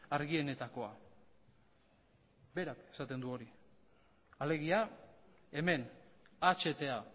argienetakoa berak esaten du hori alegia hemen ahta